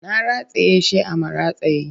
Na rataye shi a maratayi